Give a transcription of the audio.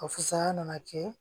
A fusaya nana kɛ